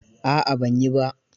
A'a ban yi ba.